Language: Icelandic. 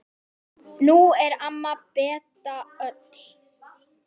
Nú er amma Beta öll.